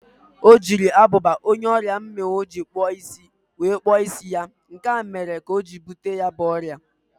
O ji agụba onye ọrịa mmịnwụ jiri kpụọ isi wee kpụọ isi nke ya, nke a mere ka o bute ya bụ ọrịa.